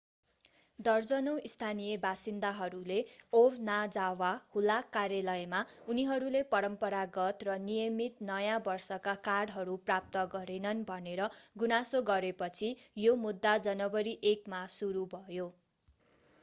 दर्जनौं स्थानीय बासिन्दाहरूले ओबनाजावा हुलाक कार्यालयमा उनीहरूले परम्परागत र नियमित नयाँ वर्षका कार्डहरू प्राप्त गरेनन् भनेर गुनासो गरेपछि यो मुद्दा जनवरी 1 मा सुरु भयो